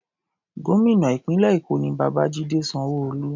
Gómìnà ìpínlẹ̀ Èkó ni Babajide Sanwo-Olu.